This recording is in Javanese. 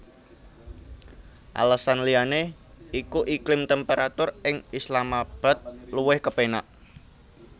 Alesan liyané iku iklim temperatur ing Islamabad luwih kepénak